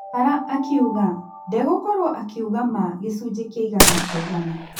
Bara akiuga: "Ndegũkorwo akĩuga maa, gĩcunji kĩa igana kwa igana.